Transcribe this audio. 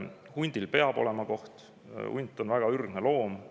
Hundil peab olema koht, hunt on väga ürgne loom.